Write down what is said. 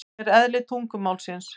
Þannig er eðli tungumálsins.